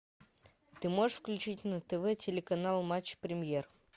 ты можешь включить на тв телеканал матч премьер